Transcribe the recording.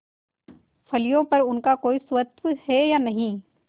फलियों पर उनका कोई स्वत्व है या नहीं